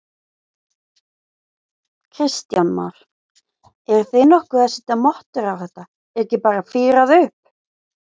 Kristján Már: Eruð þið nokkuð að setja mottur á þetta, er ekki bara fírað upp?